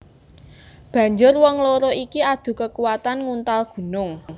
Banjur wong loro iki adu kekuatan nguntal gunung